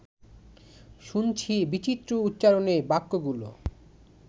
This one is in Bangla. শুনছি বিচিত্র উচ্চারণে বাক্যগুলো